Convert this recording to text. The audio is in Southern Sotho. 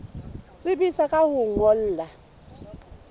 tsebisa ka ho o ngolla